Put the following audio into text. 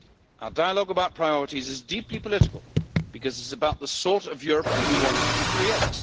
Our dialogue about priorities is deeply political because it is about the sort of Europe we want to create.